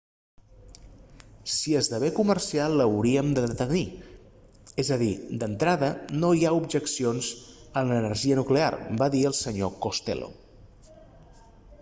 si esdevé comercial l'hauríem de tenir és a dir d'entrada no hi ha objeccions a l'energia nuclear va dir el sr costello